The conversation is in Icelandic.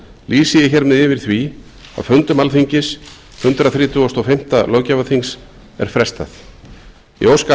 lýsi ég hér með yfir því að fundum alþingis hundrað þrítugasta og fimmta löggjafarþings er frestað ég óska